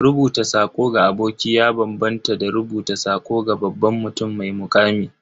Rubuta sako ga aboki ya bambanta da rubuta sako ga babban mutum mai muƙami.